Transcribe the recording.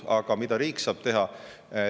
Aga mida riik saab teha?